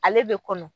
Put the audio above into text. Ale bɛ kɔnɔ